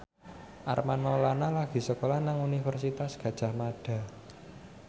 Armand Maulana lagi sekolah nang Universitas Gadjah Mada